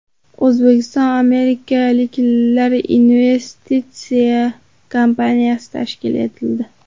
O‘zbekistonAmirliklar investitsiya kompaniyasi tashkil etildi.